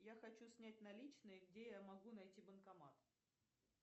я хочу снять наличные где я могу найти банкомат